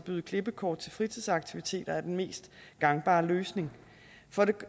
med klippekort til fritidsaktiviteter er den mest gangbare løsning